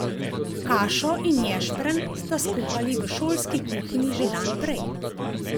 Kašo in ješprenj sta skuhali v šolski kuhinji že dan prej.